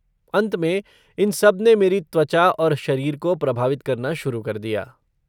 अंत में, इन सब ने मेरी त्वचा और शरीर को प्रभावित करना शुरु कर दिया।